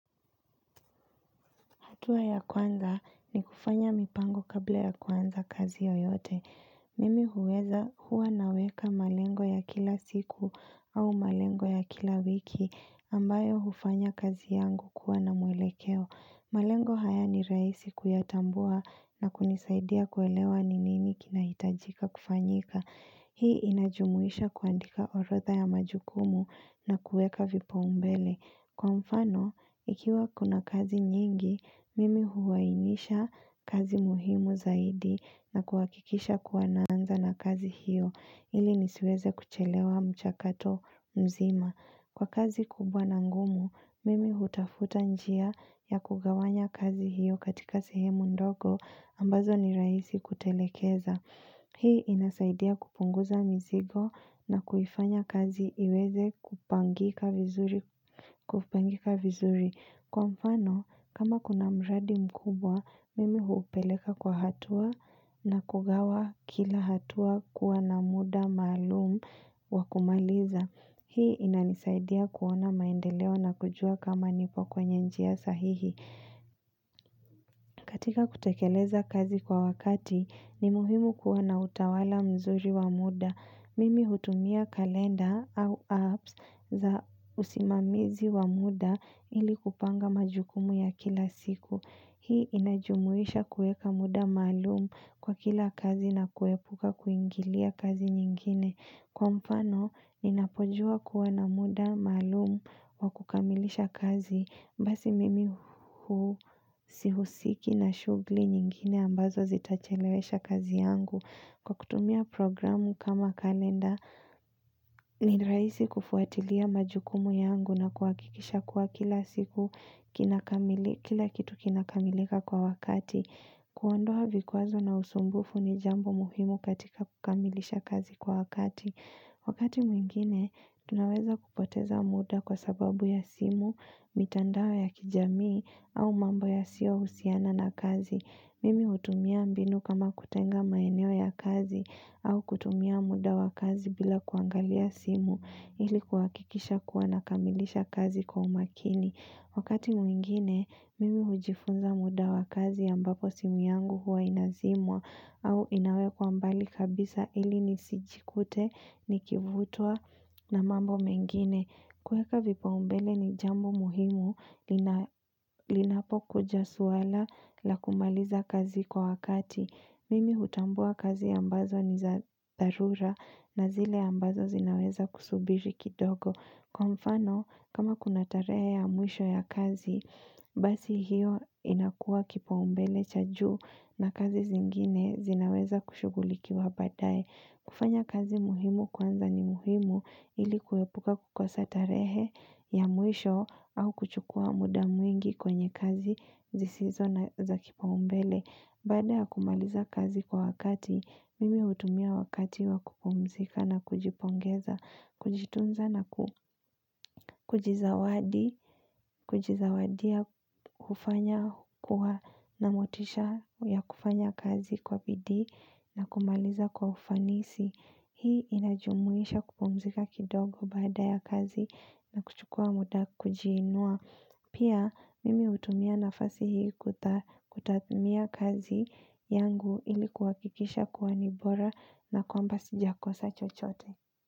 Hatua ya kwanza ni kufanya mipango kabla ya kuanza kazi yoyote. Mimi huweza huwa naweka malengo ya kila siku au malengo ya kila wiki ambayo hufanya kazi yangu kuwa na mwelekeo. Malengo haya ni rahisi kuyatambua na kunisaidia kuelewa ni nini kinaitajika kufanyika. Hii inajumuisha kuandika orodha ya majukumu nakuweka vipaumbele. Kwa mfano, ikiwa kuna kazi nyingi, mimi huainisha kazi muhimu zaidi na kuhakikisha kuwa naanza na kazi hiyo ili nisiweze kuchelewa mchakato mzima. Kwa kazi kubwa na ngumu, mimi hutafuta njia ya kugawanya kazi hiyo katika sehemu ndogo ambazo ni rahisi kutekeleza. Hii inasaidia kupunguza mizigo na kuifanya kazi iweze kupangika vizuri. Kwa mfano, kama kuna mradi mkubwa, mimi huupeleka kwa hatua nakugawa kila hatua kuwa na muda maalumu wakumaliza. Hii ina nisaidia kuona maendeleo na kujua kama nipo kwenye njia sahihi. Katika kutekeleza kazi kwa wakati ni muhimu kuwa na utawala mzuri wa muda. Mimi hutumia kalenda au apps za usimamizi wa muda ili kupanga majukumu ya kila siku. Hii inajumuisha kuweka muda maalumu kwa kila kazi na kuepuka kuingilia kazi nyingine. Kwa mfano, ninapojua kuwa na muda maalumu wa kukamilisha kazi. Basi mimi huwa sihusiki na shughuli nyingine ambazo zitachelewesha kazi yangu. Kwa kutumia programu kama kalenda ni rahisi kufuatilia majukumu yangu na kuhakikisha kuwa kila siku kila kitu kinakamilika kwa wakati. Kuondoa vikwazo na usumbufu ni jambo muhimu katika kukamilisha kazi kwa wakati. Wakati mwingine, tunaweza kupoteza muda kwa sababu ya simu, mitandao ya kijamii au mambo ya siyo husiana na kazi. Mimi hutumia mbinu kama kutenga maeneo ya kazi au kutumia muda wa kazi bila kuangalia simu ilikuhakikisha kuwa nakamilisha kazi kwa umakini. Wakati mwingine, mimi hujifunza muda wa kazi ambapo simu yangu huwa inazimwa au inawekwa mbali kabisa ili ni sijikute, nikivutwa na mambo mengine. Kuweka vipaumbele ni jambo muhimu linapokuja suala la kumaliza kazi kwa wakati. Mimi hutambua kazi ambazo ni za dharura na zile ambazo zinaweza kusubiri kidogo. Kwa mfano, kama kuna tarehe ya mwisho ya kazi, basi hiyo inakua kipaumbele cha juu na kazi zingine zinaweza kushughulikiwa baadaye. Kufanya kazi muhimu kwanza ni muhimu ili kuepuka kukosatarehe ya mwisho au kuchukua muda mwingi kwenye kazi zisizo na za kipaumbele. Baada ya kumaliza kazi kwa wakati, mimi hutumia wakati wakupumzika na kujipongeza, kujitunza na kujizawadi, kujizawadia hufanya kuwa na motisha ya kufanya kazi kwa pidii na kumaliza kwa ufanisi. Hii inajumuisha kupumzika kidogo baada ya kazi na kuchukua muda kujiinua. Pia mimi hutumia nafasi hii kutathimia kazi yangu ilikuhakikisha kuwa ni bora na kwamba sijakosa chochote.